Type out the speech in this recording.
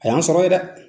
A y'an sɔrɔ ye dɛ